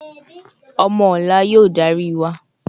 Omo ola y‘o dari wa